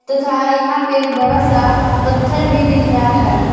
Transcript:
तथा यहां पे एक बड़ा सा पत्थर भी दिख रहा है ।